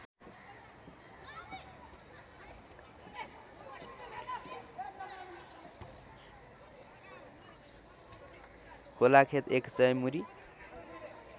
खोलाखेत एकसय मुरी